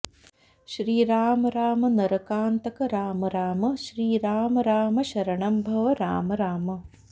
श्रीराम राम नरकान्तक राम राम श्रीराम राम शरणं भव राम राम